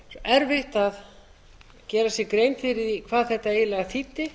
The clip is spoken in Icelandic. erfitt að gera sér grein fyrir því hvað þetta eiginlega þýddi